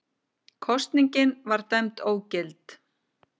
Kosningin var dæmd ógild